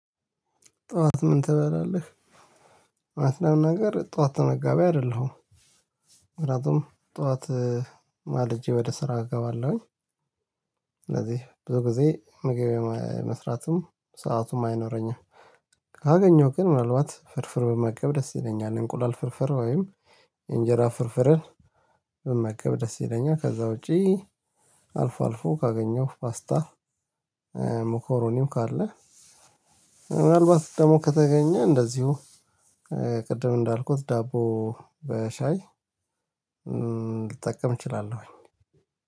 ጠዋት ምን ትበላለህ? እውነት ለመናገር ጠዋት ተመጋቢ አይደለሁም። ምክንያቱም ጠዋት ማልጄ ወደ ስራ እገባለሁኝ። ስለዚህ ብዙ ጊዜ ምግብ የመስራቱም ሰአቱም አይኖረኝም። ካገኘሁ ግን ምናልባት ፍርፍር ብመገብ ደስ ይለኛል እንቁላል ፍርፍር ወይም እንጀራ ፍርፍርን ብመገብ ደስ ይለኛል። ከዛ ውጪ አልፎ አልፎ ካገኘው ፓስታ። ሞኮሮኒም ካለ ምናልባት ደግሞ ከተገኘ እንደዚሁ። ቅድም እንዳልኩት ዳቦ በሻይ ልጠቀም እችላለሁኝ።